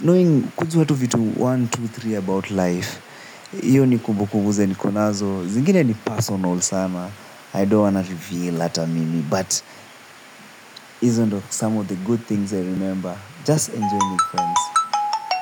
knowing kujua watu vitu moja, mbili, tatu about life, hiyo ni kumbukumbu zenye niko nazo, zingine ni personal sana. I don't wanna reveal ata mimi. But hizi ndo some of the good things I remember. Just enjoy my friends.